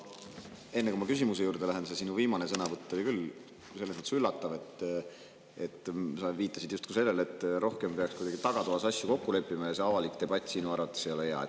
Enne kui ma küsimuse juurde lähen,, et see sinu sõnavõtt oli küll selles mõttes üllatav, et sa viitasid justkui sellele, et rohkem peaks asju kuidagi tagatoas kokku leppima ja see avalik debatt ei ole sinu arvates hea.